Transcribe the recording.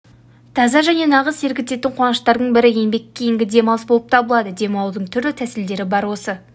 таза және нағыз серігетін қуаныштардың бірі еңбек кейінгі демалыс болып табылады демалудың түрлі тәсілдері бар осы